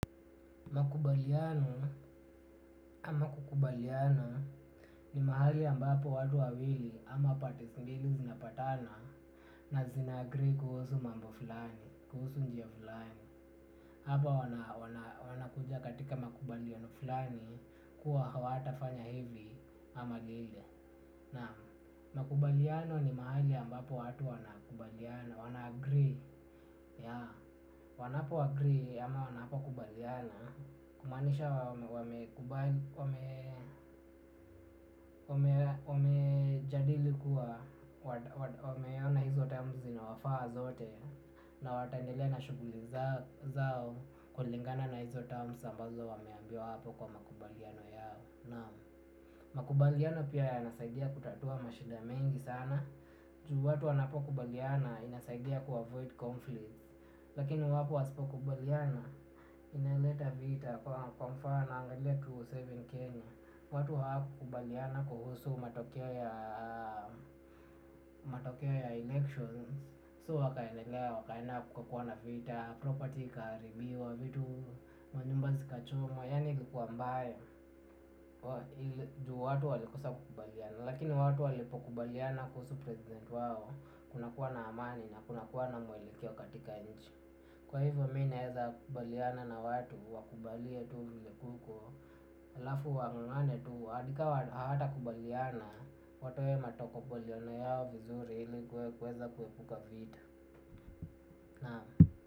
Makubaliano ama kukubaliana ni mahali ambapo watu wawili ama pande mbili zinapatana na zina agree kuhusu mambo flani. Kuhusu njia fulani hapa wana kuja katika makubaliano fulani kuwa hata fanya hivi ama vile. Na makubaliano ni mahali ambapo watu wana kubaliana. Wana agree. Wanapo agree ama wanapo kubaliana kumaanisha wamekubali wamejadili kuwa wameona hizo terms zinawafaa zote. Na wataendelea na shughuli zao. Kulingana na hizo terms ambazo wameambiwa hapo kwa makubaliano yao, naam, makubaliano pia yanasaidia kutatua mashida mengi sana. Juu watu wanapo kubaliana inasaidia kuavoid conflict. Lakini iwapo wasipo kubaliana, inaleta vita kwa mfano angalia elfu mbili na saba Kenya. Watu hawkukubaliana kuhusu matokeo ya matokeo ya elections So wakaendelea, wakaenda kuka kuwa na vita, property ikaharibiwa, vitu manyumba zikachomwa. Yani ilikuwa mbaya, juu watu walikosa kubaliana. Lakini watu walipo kubaliana kuhusu president wao kunakua na amani na kunakua na mwelekeo katika nchi kwa hivyo mi naweza kubaliana na watu, wakubalie tu vile kuko, alafu wangangane tu hadi hata hawatakubaliana watoe matokubaliano yao vizuri ili kuepuka vita.